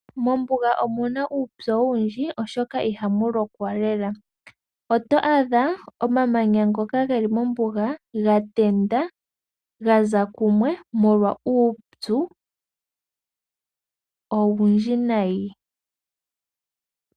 Mombuga omuna uupyu owundji oshoka ihamu lokwa lela. Oto adha omamanya ngoka geli mombuga gatenda, gaza kumwe molwa uupyu owundji nayi.